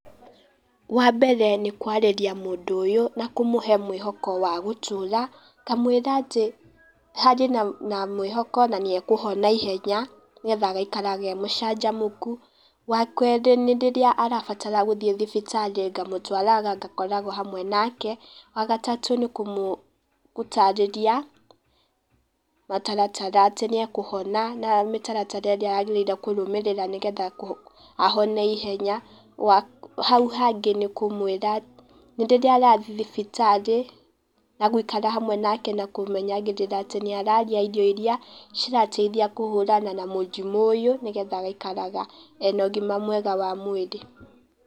Wa mbere nĩ kwarĩria mũndũ ũyũ na kũmũhe mwĩhoko wa gũtũra, ngamwĩra atĩ harĩ na mwĩhoko na nĩ akũhona ihenya, nĩgetha agaikaraga e mũcanjamũku. Wa kerĩ nĩ rĩrĩa arabatara gũthiĩ thibitarĩ, ngamũtwaraga, ngakoragwo hamwe nake. Wa gatatũ nĩ kũmũtarĩria gataratara atĩ nĩ akũhona, na mĩtaratara ĩrĩa agĩrĩire kũrũmĩrĩra nĩgetha ahone ihenya, hau hangĩ nĩ kũmwĩra rĩrĩa arathiĩ thibitarĩ na gũikara hamwe nake na kũmenyagĩrĩra atĩ nĩararĩa irio iria cirateithia kũhũrana na mũrimũ ũyũ nĩgetha agaikaraga ena ũgima mwega wa mwĩrĩ.